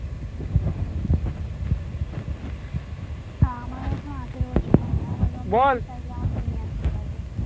আমার এখন আঠেরো বছর হয়নি আমার বাবা বল আমাকে নিয়ে আস্তে পারবে